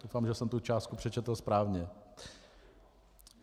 Doufám, že jsem tu částku přečetl správně.